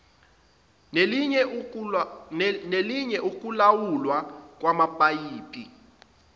nelinye ukulawulwa kwamapayipi